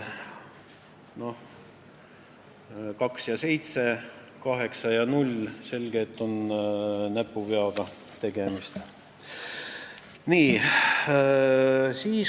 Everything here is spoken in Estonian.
Nii et 2 ja 7, 8 ja 0 – selge, et siin on näpuvigadega tegemist.